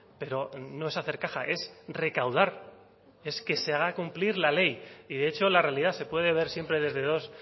pero no es hacer caja es recaudar es que se haga cumplir la ley y de hecho la realidad se puede ver siempre desde dos